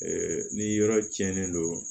ni yɔrɔ tiɲɛnen don